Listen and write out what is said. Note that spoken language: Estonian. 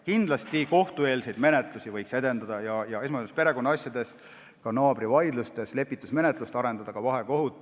Kindlasti võiks kohtueelset menetlust edendada, esmajoones perekonnaasjades, ka naabritevahelistes vaidlustes võiks arendada lepitusmenetlust, ka vahekohut.